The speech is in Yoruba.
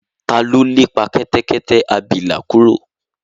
ta ló lépa kẹtẹkẹtẹ abilà kúrò?